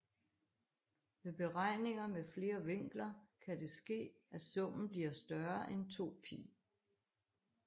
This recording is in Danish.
Ved beregninger med flere vinkler kan det ske at summen bliver større end 2π